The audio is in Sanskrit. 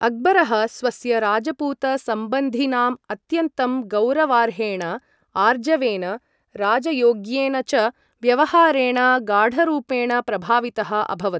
अक्बरः स्वस्य राजपूत सम्बन्धिनां अत्यन्तं गौरवार्हेण, आर्जवेन, राजयोग्येन च व्यवहारेण गाढरुपेण प्रभावितः अभवत्।